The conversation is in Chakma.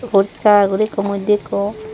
puriskar guri ekko moddye ikko.